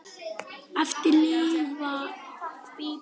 Eftir lifa Bíbí og Erla.